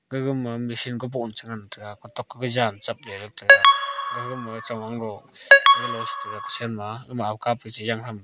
gaga ma machine kaboh che ngan tega kotok gawa jan chapley tega gaga ma chewang lo galo che tega kuchen ama --